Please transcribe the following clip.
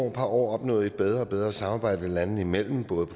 par år opnået et bedre og bedre samarbejde landene imellem både